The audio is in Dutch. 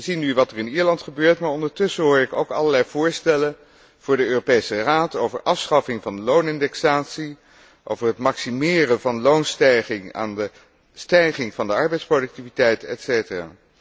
We zien nu wat er in Ierland gebeurt, maar ondertussen hoor ik ook allerlei voorstellen voor de Europese Raad over de afschaffing van de loonindexatie, over het maximeren van de loonstijging aan de stijging van de arbeidsproductiviteit, et cetera.